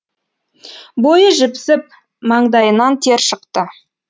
бойы жіпсіп маңдайынан тер шықты